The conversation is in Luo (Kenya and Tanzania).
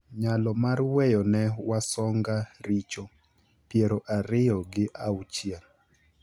,Nyalo mar weyo ne Wasonga richo, piero ariyo gi auchiel,